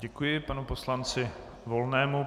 Děkuji panu poslanci Volnému.